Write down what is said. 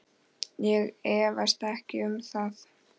Ég efast ekkert um það.